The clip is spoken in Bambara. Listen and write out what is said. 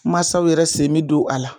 Mansaw yɛrɛ sen me don a la